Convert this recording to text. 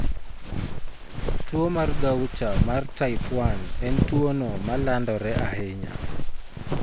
Tuwo mar Gaucher mar type 1 e tuwono ma landore ahinya.